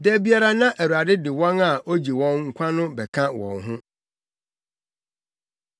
Da biara na Awurade de wɔn a ogye wɔn nkwa no bɛka wɔn ho.